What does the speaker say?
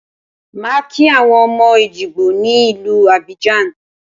Màá kí àwọn ọmọ Èjìgbò ní ìlú Abidjan